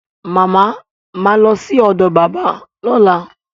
Mama ma lọ sí ọ̀dọ̀ bàbá lọ́la